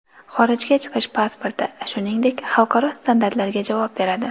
Xorijga chiqish pasporti, shuningdek, xalqaro standartlarga javob beradi.